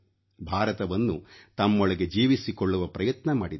ಭಾರತವನ್ನು ತಮ್ಮೊಳಗೆ ಜೀವಿಸಿಕೊಳ್ಳುವ ಪ್ರಯತ್ನ ಮಾಡಿದ್ದರು